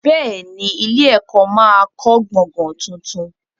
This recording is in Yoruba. Bẹ́ẹ̀ ni, ilé-ẹ̀kọ́ máa kọ́ gbọ̀gàn tuntun.